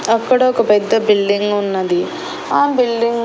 అక్కడ ఒక పెద్ద బిల్డింగ్ ఉన్నది ఆ బిల్డింగ్ .